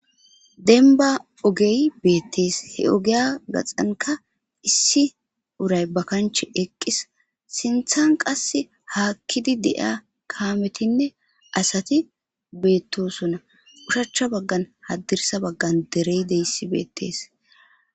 Denba ogey bettes he ogiya gaxankka issi uray ba kanche eqis sinththan qasi hakkid de'ya kametinne asati bettosona oshichcha bagan hadirssa bagan dery deys bettes